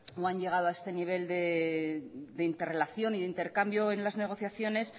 o han llegado a este nivel de interrelación y de intercambio en las negociaciones